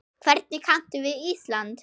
Hvernig kanntu við Ísland?